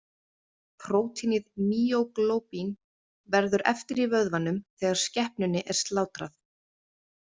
Prótínið mýóglóbín verður eftir í vöðvanum þegar skepnunni er slátrað.